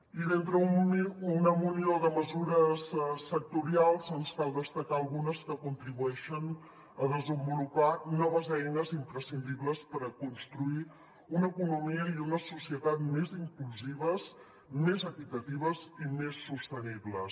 i d’entre una munió de mesures sectorials ens cal destacar ne algunes que contribueixen a desenvolupar noves eines imprescindibles per construir una economia i una societat més inclusives més equitatives i més sostenibles